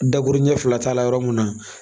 Daburunin fila t'a la yɔrɔ min na